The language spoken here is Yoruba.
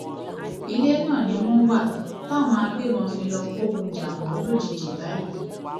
ilé náà ni wọn wà táwọn agbébọn fi lọọ kógun jà wọn lójijì báyìí